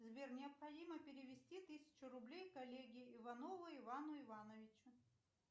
сбер необходимо перевести тысячу рублей коллеге иванову ивану ивановичу